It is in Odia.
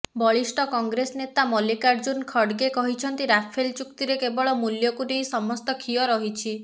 ବରିଷ୍ଠ କଂଗ୍ରେସ ନେତା ମଲ୍ଲିକାର୍ଜୁନ୍ ଖଡ଼ଗେ କହିଛନ୍ତି ରାଫେଲ୍ ଚୁକ୍ତିରେ କେବଳ ମୂଲ୍ୟକୁ ନେଇ ସମସ୍ତ ଖିଅ ରହିଛି